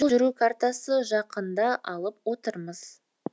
жол жүру картасы жақында алып отырмыз